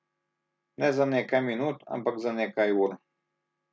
Ne za nekaj minut, ampak za nekaj ur.